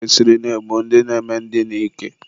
e kwesịrị ị na-egbu ndị na-eme ndina ike.